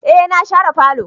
Eh na share falo.